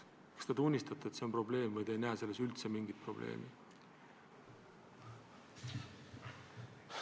Kas te tunnistate, et see on probleem, või te ei näe selles üldse mingit probleemi?